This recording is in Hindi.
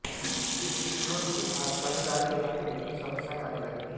इस बीच जोन के साथ साझेदारी निभाने में भी समस्याएं आने लगी थीं